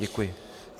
Děkuji.